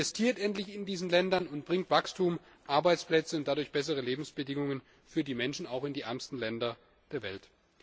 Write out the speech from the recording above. Investiert endlich in diesen Ländern und bringt Wachstum, Arbeitsplätze und dadurch bessere Lebensbedingungen für die Menschen auch in die ärmsten Länder der Welt.